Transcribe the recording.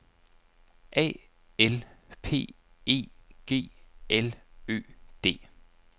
A L P E G L Ø D